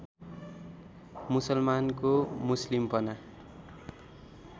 मुसलमानको मुस्लिमपना